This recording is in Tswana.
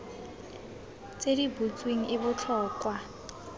tse di butsweng e botlhokwa